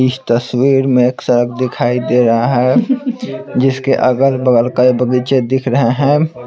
इस तस्वीर में एक सड़क दिखाई दे रहा है जिसके अगल बगल कई बगीचे दिख रहे हैं।